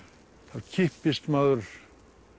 þá kippist maður